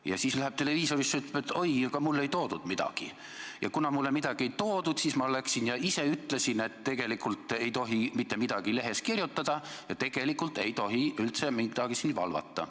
Ja siis läheb televiisorisse ja ütleb, et oi, aga mulle ei toodud midagi ja kuna mulle midagi ei toodud, siis ma läksin ja ütlesin, et tegelikult ei tohi mitte midagi lehes kirjutada ja tegelikult ei tohi üldse midagi valvata.